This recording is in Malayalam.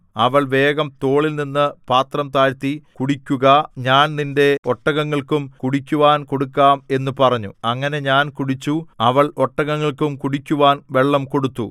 അവൾ വേഗം തോളിൽനിന്നു പാത്രം താഴ്ത്തി കുടിക്കുക ഞാൻ നിന്റെ ഒട്ടകങ്ങൾക്കും കുടിക്കുവാൻ കൊടുക്കാം എന്നു പറഞ്ഞു അങ്ങനെ ഞാൻ കുടിച്ചു അവൾ ഒട്ടകങ്ങൾക്കും കുടിക്കുവാൻ വെള്ളം കൊടുത്തു